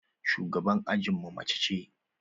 Shugaban ajinmu mace ce.